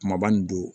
Kumaba nin don